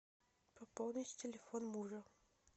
пополнить телефон мужа